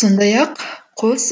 сондай ақ қос